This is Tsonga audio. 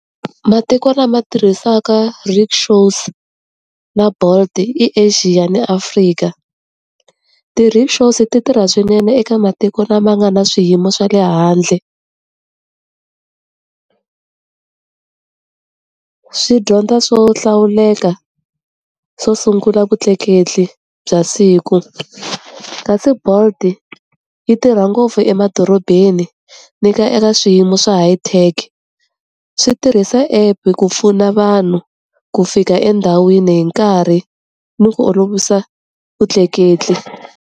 Matiko lama tirhisaka rikshaws na Bolt i Asia ni Afrika. Ti-rikshaw ti tirha swinene eka matiko lama nga na swiyimo swa le handle swi dyondza swo hlawuleka swo sungula vutleketli bya siku. Kasi Bolt-i yi tirha ngopfu emadorobeni ni ka eka swiyimo swa high tech. Swi tirhisa app-e ku pfuna vanhu ku fika endhawini hi nkarhi ni ku olovisa vutleketli.